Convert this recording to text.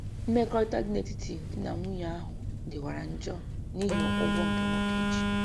Mmekọrịta dị netiti di na nwunye ahụ dịwara njọ nihi ụgwọ nke nwoke ji